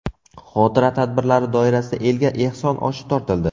Xotira tadbirlari doirasida elga ehson oshi tortildi.